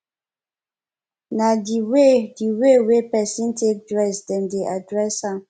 na di way di way wey person take dress dem dey address am